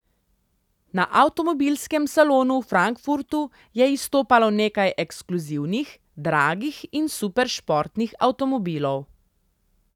Na avtomobilskem salonu v Frankfurtu je izstopalo nekaj ekskluzivnih, dragih in superšportnih avtomobilov.